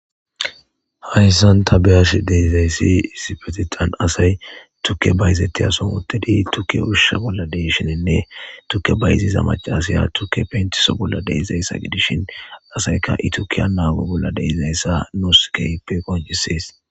hayssan tabeyash deizayssi isipetitan asay tukke bayzettiyason uttedi tukke urshusha bolla deishinenne tukke bayiziza macasaya tukke pentiso bolla deizayssa gidishin asayka itukiya naawe bolla deizayssa nuuskeyppe konjisees